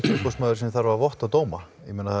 umboðsmaður sem þarf að votta dóma